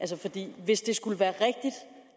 det